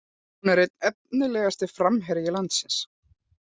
Hún er einn efnilegasti framherji landsins